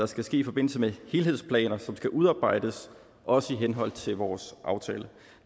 skal ske i forbindelse med helhedsplaner som skal udarbejdes også i henhold til vores aftale